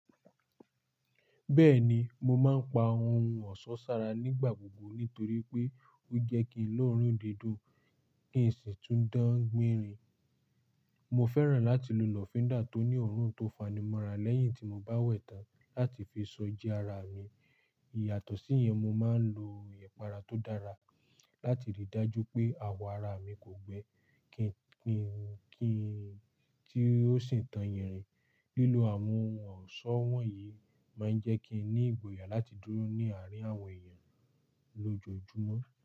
Bẹ́ẹ̀ni, mo máa ń pa ohun ọ̀ṣọ́ sára nígbà gbogbo nítorí pé ó jẹ́ kí ń lọ́rùn dídùn, kí ń sì tún dán gbinrin. Mo fẹ́ràn láti lo lọfinda tó ní òórùn tó fanimọ́ra lẹ́yìn tí mo bá wẹ̀ tán láti fi so ji ara mi. Iyàtọ̀ sí yẹn, mo máa ń lo ìpara tó dára láti rí i dájú pé àwọ̀ ara mi kò gbẹ́, kí ń, kí ń, ki n tí ó sì tàn yẹn rìn. Lílo àwọn ohun ọ̀ṣọ́ wọ̀nyí máa ń jẹ́ kí n ní ìgboyà láti dúró ní àárín àwọn èèyàn lójoojúmọ́.